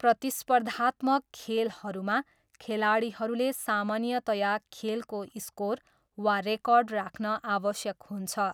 प्रतिस्पर्धात्मक खेलहरूमा, खेलाडीहरूले सामान्यतया खेलको स्कोर वा रेकर्ड राख्न आवश्यक हुन्छ।